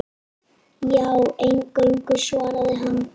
Já, eingöngu, svaraði hann.